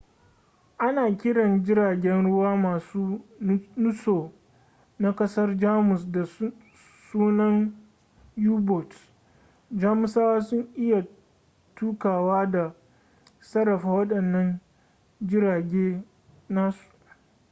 ana kiran jiragen ruwa masu nutso na kasar jamus da sunan u-boats jamusawa sun iya tukawa da sarrafa wadannan jirage nasu